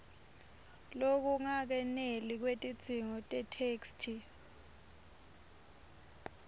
lokungakeneli kwetidzingo tetheksthi